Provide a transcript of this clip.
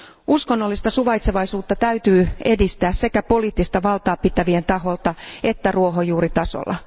Uskonnollista suvaitsevaisuutta täytyy edistää sekä poliittista valtaa pitävien taholta että ruohonjuuritasolla.